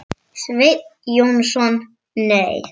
Sveinn Jónsson Nei.